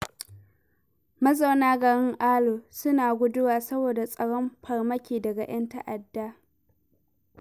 Mazauna garin Alu suna guduwa, saboda tsoron farmaki daga 'yan ta'adda.